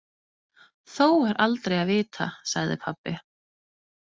Þó er aldrei að vita, sagði pabbi.